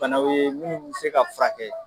banaw ye munnu bɛ se ka furakɛ.